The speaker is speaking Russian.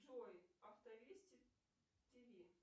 джой автовести тв